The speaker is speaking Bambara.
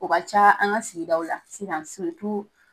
O ka ca an ka sigidaw la sisan